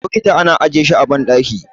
bokiti ana ajiye shi a bandaki